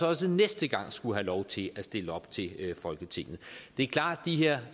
også næste gang skulle have lov til at stille op til folketinget det er klart